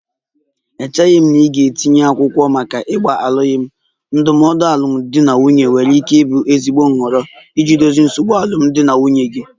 Echeghị m na ị ga-etinye akwụkwọ maka ịgba alụkwaghịm, ndụmọdụ alụmdi na nwunye nwere ike ịbụ ezigbo nhọrọ iji dozie nsogbu alụmdi na nwunye gị